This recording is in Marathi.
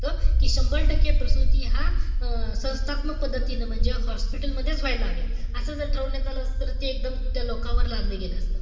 कि शंभर टक्के प्रसूती ह्या अं संस्थात्मक पद्धतीने, म्हणजे hospital मधेच व्हाव्या, असं जर ठरवण्यात आलं असत. त ते एकदम त्या लोकांवर लादलं गेलं असत.